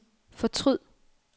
fortryd